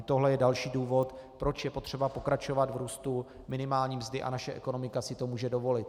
I tohle je další důvod, proč je potřeba pokračovat v růstu minimální mzdy, a naše ekonomika si to může dovolit.